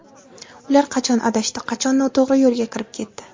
Ular qachon adashdi, qachon noto‘g‘ri yo‘lga kirib ketdi?